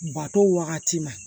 Bato wagati ma